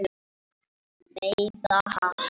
Meiða hana.